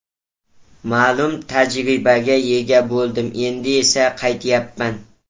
Ma’lum tajribaga ega bo‘ldim, endi esa qaytyapman.